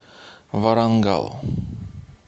варангал